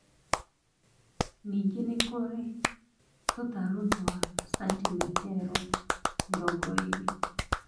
Ningĩ nĩ kũrĩ tũtarũ twa santimetero mĩrongo ĩrĩ